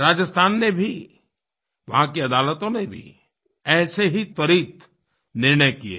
राजस्थान ने भी वहाँ की अदालतों ने भी ऐसे ही त्वरित निर्णय किये हैं